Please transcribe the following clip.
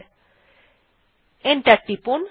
তারপর এন্টার টিপুন